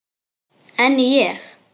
En ég?